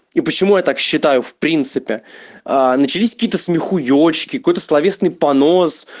и почему я так считаю в принципе начались какие-то смехуечки какой-то словесный понос